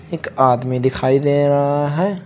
एक आदमी दिखाई दे रहा है।